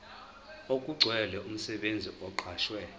okugcwele umsebenzi oqashwe